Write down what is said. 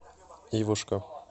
ивушка